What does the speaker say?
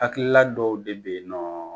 Hakilila dɔw de bɛ yen nɔ